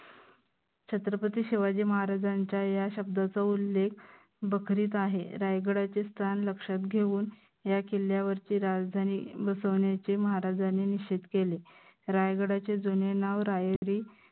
छत्रपती शिवाजी महाराजांच्या या शब्दाचा उल्लेख बखरीत आहे. रायगडाचे स्थान लक्षात घेऊन या किल्ल्यावरती राजधानी बसवन्याचे महाराजांनी निश्चित केले. रायगडाचे जुने नाव रायरी